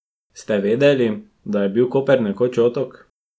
Ste vedeli, da je bil Koper nekoč otok?